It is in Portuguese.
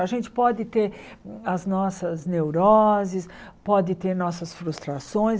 A gente pode ter as nossas neuroses, pode ter nossas frustrações.